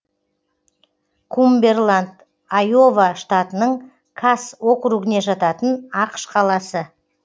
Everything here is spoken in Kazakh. кумбэрланд айова штатының касс округіне жататын ақш қаласы